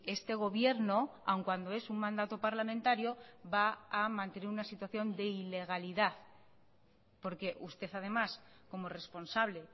este gobierno aún cuando es un mandato parlamentario va a mantener una situación de ilegalidad porque usted además como responsable